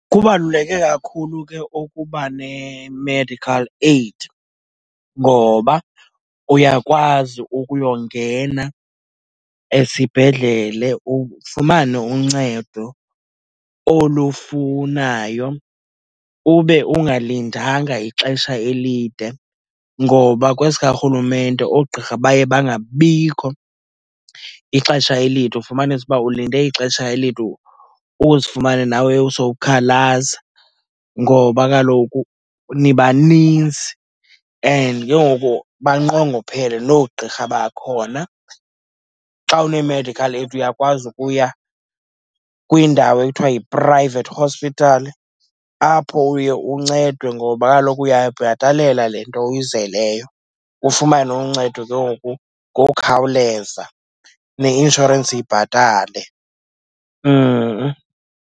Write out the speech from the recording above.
Kubaluleke kakhulu ke ukuba ne-medical aid ngoba uyakwazi ukuyongena esibhedlele ufumane uncedo olufunayo, ube ungalindanga ixesha elide. Ngoba kwesikarhulumente oogqirha baye bangabikho ixesha elide, ufumanise uba ulinde ixesha elide uzifumana, nawe sowukhalaza ngoba kaloku nibaninzi and ke ngoku banqongophele noogqirha bakhona. Xa une-medical aid uyakwazi ukuya kwindawo ekuthiwa yi-private hospital, apho uye uncedwe ngoba kaloku uyayibhatalela le nto oyizeleyo, ufumane uncedo ke ngoku ngokukhawuleza neinshorensi ibhatale .